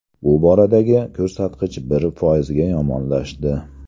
Bu boradagi ko‘rsatkich bir foizga yomonlashdi .